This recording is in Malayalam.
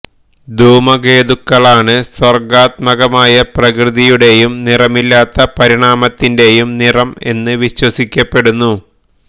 ധൂമകേതുക്കളാണ് സർഗ്ഗാത്മകമായ പ്രകൃതിയുടെയും നിറമില്ലാത്ത പരിണാമത്തിൻറെയും നിറം എന്ന് വിശ്വസിക്കപ്പെടുന്നു